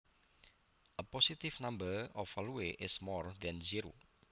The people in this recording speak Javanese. A positive number or value is more than zero